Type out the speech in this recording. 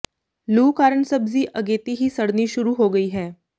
ਲੂਅ ਕਾਰਨ ਸਬਜ਼ੀ ਅਗੇਤੀ ਹੀ ਸੜਨੀ ਸ਼ੁਰੂ ਹੋ ਗਈ ਹੈ